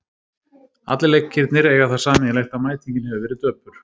Allir leikirnir eiga það sameiginlegt að mætingin hefur verið döpur.